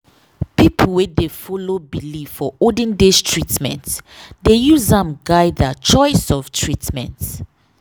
people wey dey follow belief for olden days treatment dey use am guide their choice of treatment.